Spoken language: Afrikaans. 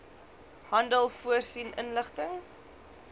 handel voorsien inligting